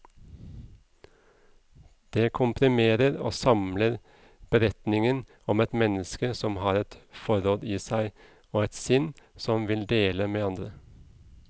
Det komprimerer og samler beretningen om et menneske som har et forråd i seg, og et sinn som vil dele med andre.